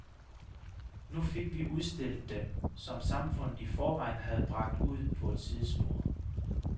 Nu fik vi udstillet dem, som samfundet i forvejen havde bragt ud på et sidespor.